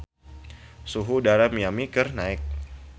Suhu udara di Miami keur naek